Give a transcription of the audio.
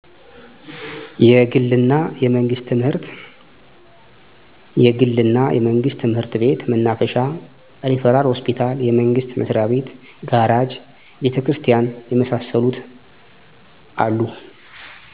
የግል እና የመንግስት ትምህርት ቤት፣ መናፈሻ፣ ሪፈራል ሆስፒታል፣ የመንግስት መስሪያቤት፣ ጋራጅ፣ ቤተክርስቲያን የመሳሰሉት አሉ።